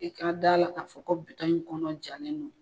I ka da a la k'a fɔ ko in kɔnɔ jalen don